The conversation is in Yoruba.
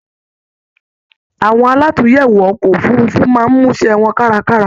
Awọn àlatúnyẹwò ọkọ òfurùnfu máa n musẹ wọn karakara